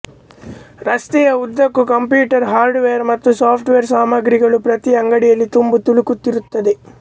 ರಸ್ತೆಯ ಉದ್ದಕ್ಕೂ computer hardware ಮತ್ತು ಸಾಫ್ಟ್ ವೇರ್ ಸಾಮಗ್ರಿಗಳು ಪ್ರತಿ ಅಂಗಡಿಯಲ್ಲೂ ತುಂಬಿತುಳುಕುತ್ತಿರುತ್ತವೆ